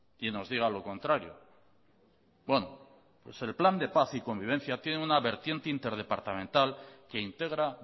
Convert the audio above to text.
y nos diga lo contrario bueno pues el plan de paz y convivencia tiene una vertiente interdepartamental que integra